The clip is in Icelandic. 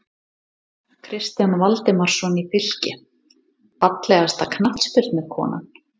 Kristján Valdimarsson í Fylki Fallegasta knattspyrnukonan?